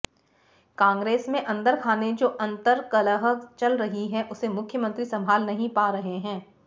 कांग्रेस में अन्दरखाने जो अन्तर्कलह चल रही है उसे मुख्यमंत्री सम्भाल नहीं पा रहे हैं